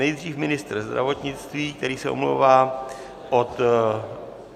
Nejdřív ministr zdravotnictví, který se omlouvá od...